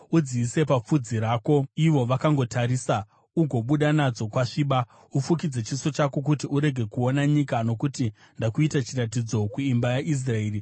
Udziise papfudzi rako ivo vakangotarisa ugobuda nadzo kwasviba. Ufukidze chiso chako kuti urege kuona nyika, nokuti ndakuita chiratidzo kuimba yaIsraeri.”